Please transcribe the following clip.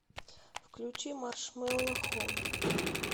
включи маршмелло хоум